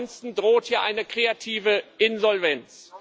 Ansonsten droht hier eine kreative Insolvenz.